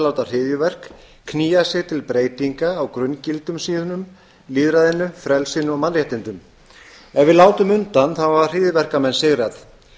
láta hryðjuverk knýja sig til breytinga á grunngildum sínum lýðræðinu frelsinu og mannréttindum ef við látum undan hafa hryðjuverkamenn sigrað